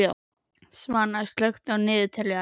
Svana, slökktu á niðurteljaranum.